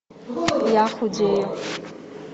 я худею